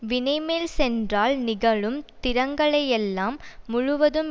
வினைமேல் சென்றால் நிகழும் திறங்களையெல்லாம் முழுவதும்